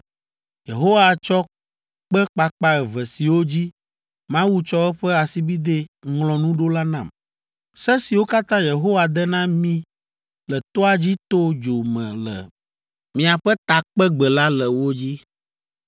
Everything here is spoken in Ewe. Yehowa tsɔ kpe kpakpa eve siwo dzi Mawu tsɔ eƒe asibidɛ ŋlɔ nu ɖo la nam. Se siwo katã Yehowa de na mí le toa dzi to dzo me le miaƒe takpegbe la le wo dzi.